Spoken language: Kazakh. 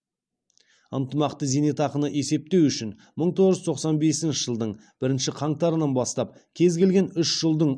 ынтымақты зейнетақыны есептеу үшін мың тоғыз жүз тоқсан бесінші жылдың бірінші қаңтарынан бастап кез келген үш жылдың